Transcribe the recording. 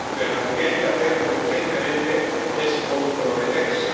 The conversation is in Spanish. Pero lo que hay que hacer urgentemente es comprometerse.